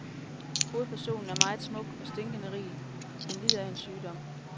Hovedpersonen er meget smuk og stinkende rig, men lider af en sygdom.